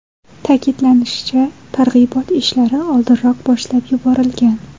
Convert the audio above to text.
Ta’kidlanishicha, targ‘ibot ishlari oldinroq boshlab yuborilgan.